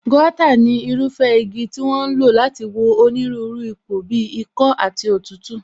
Gauta ni irúfẹ́ igi tí wón ń lò láti wo onírúurú ipò bíi ikọ́ àti òtútù